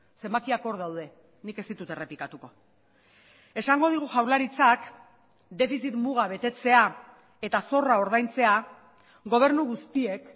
zenbakiak hor daude nik ez ditut errepikatuko esango digu jaurlaritzak defizit muga betetzea eta zorra ordaintzea gobernu guztiek